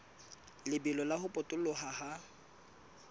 lebelo la ho potoloha ha